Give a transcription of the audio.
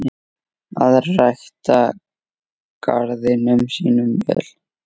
Að rækta garðinn sinn vel.